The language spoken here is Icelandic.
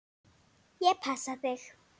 Ég passa þig.